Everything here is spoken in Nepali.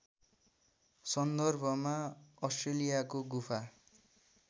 सन्दर्भमा अस्ट्रेलियाको गुफा